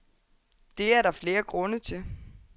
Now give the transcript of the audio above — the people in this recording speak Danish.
Det er der flere grunde til.